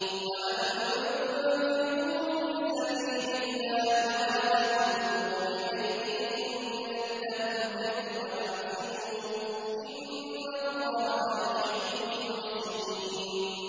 وَأَنفِقُوا فِي سَبِيلِ اللَّهِ وَلَا تُلْقُوا بِأَيْدِيكُمْ إِلَى التَّهْلُكَةِ ۛ وَأَحْسِنُوا ۛ إِنَّ اللَّهَ يُحِبُّ الْمُحْسِنِينَ